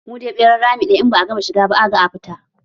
Mu dai ɓeran rami ɗaya, in ba a gama a shiga ba, a gama a fita.